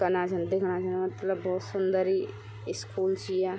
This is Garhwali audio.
कना छन दिखणा छन मतलब भोत सुन्दर ही स्कूल च या।